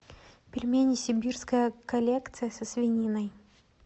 пельмени сибирская коллекция со свининой